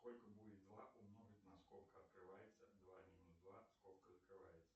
сколько будет два умножить на скобка открывается два минус два скобка закрывается